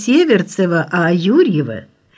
северцева а юрьево